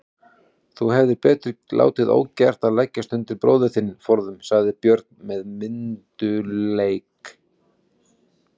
Þú hefðir betur látið ógert að leggjast undir bróður þinn forðum, sagði Björn með myndugleik.